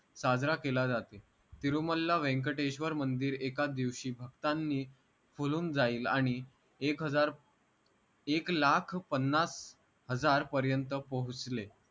साजरा केला जाते तिरुमल्ला व्यंकटेश्वर मंदिर एका दिवशी भक्तांनी फुलून जाईल आणि एक हजार एक लाख पन्नास हजार पर्यंत पोहोचले